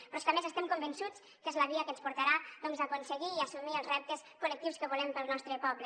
però és que a més estem convençuts que és la via que ens portarà doncs a aconseguir i assumir els reptes col·lectius que volem per al nostre poble